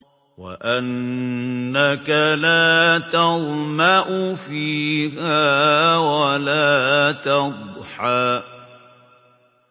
وَأَنَّكَ لَا تَظْمَأُ فِيهَا وَلَا تَضْحَىٰ